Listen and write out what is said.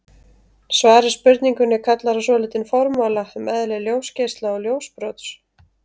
Svar við spurningunni kallar á svolítinn formála um eðli ljósgeisla og ljósbrots.